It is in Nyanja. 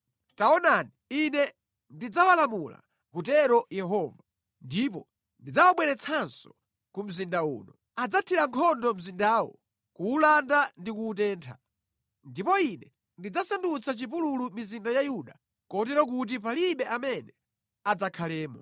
Taonani, Ine ndidzawalamula, akutero Yehova, ndipo ndidzawabweretsanso ku mzinda uno. Adzathira nkhondo mzindawu, kuwulanda ndi kuwutentha. Ndipo Ine ndidzasandutsa chipululu mizinda ya Yuda kotero kuti palibe amene adzakhalemo.”